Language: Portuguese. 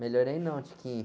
Melhorei não.